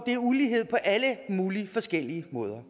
det er ulighed på alle mulige forskellige måder